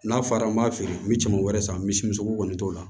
N'a fɔra an b'a feere n bɛ caman wɛrɛ san misimuso kɔni t'o la